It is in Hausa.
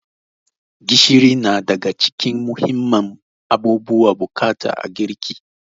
Gishiri na daga cikin muhimman abubuwan bukata a girki.